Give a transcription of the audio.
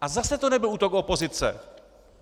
A zase to nebyl útok opozice.